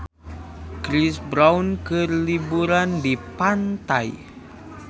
Chris Brown keur liburan di pantai